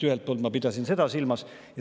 Ühelt poolt ma pidasin seda silmas.